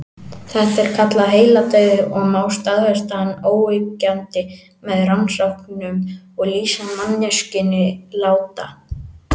Þetta er kallað heiladauði og má staðfesta hann óyggjandi með rannsóknum og lýsa manneskjuna látna.